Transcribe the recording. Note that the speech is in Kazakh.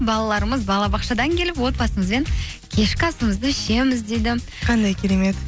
балаларымыз балабақшадан келіп отбасымызбен кешкі асымызды ішеміз дейді қандай керемет